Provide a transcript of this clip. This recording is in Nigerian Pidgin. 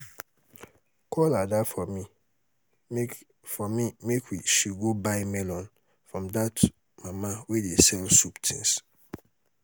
call ada for me make for me make she go buy melon from dat mama wey dey sell soup things